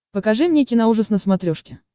покажи мне киноужас на смотрешке